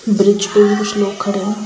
bridge पे भी कुछ लोग खड़े हैं|